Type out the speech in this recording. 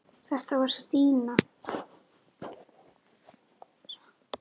Þetta var Stína.